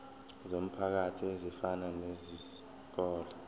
zomphakathi ezifana nezikole